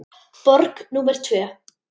Borg númer tvö.